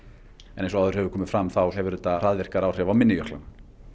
en eins og áður hefur komið fram hefur þetta hraðvirkari áhrif á minni jöklana